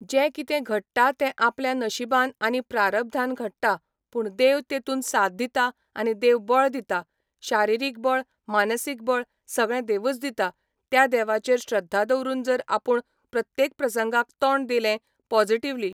जे कितें घडटा ते आपल्या नशिबान आनी प्रारब्धान घडटा पूण देव तेंतून साथ दिता आनी देव बळ दिता शारिरीक बळ मानसीक बळ सगळें देवच दिता त्या देवाचेर श्रध्दा दवरून जर आपूण प्रत्येक प्रसंगाक तोंड दिलें पोजिटिव्हली